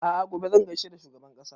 A'a gobe zan gaishe da shugaban ƙasa